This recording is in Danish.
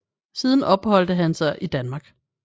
Siden opholdte han sig i Danmark